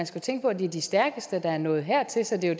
skal tænke på at det er de stærkeste der er nået hertil så det er